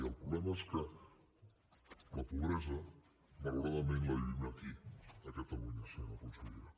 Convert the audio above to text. i el problema és que la pobresa malauradament la vivim aquí a catalunya senyora consellera